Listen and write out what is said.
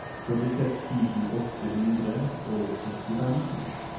førtiseks tusen åtte hundre og sekstifem